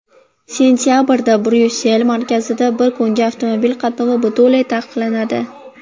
Sentabrda Bryussel markazida bir kunga avtomobil qatnovi butunlay taqiqlanadi.